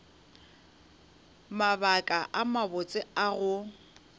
mabaka a mabotse a go